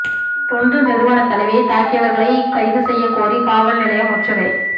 தொண்டு நிறுவன தலைவியை தாக்கியவா்களை கைது செய்யக்கோரி காவல் நிலையம் முற்றுகை